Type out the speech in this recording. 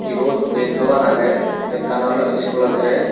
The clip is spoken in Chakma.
yot diyen dogan agey ekkan oley iskulo deres .